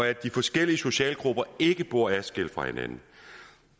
at de forskellige socialgrupper ikke bor adskilt fra hinanden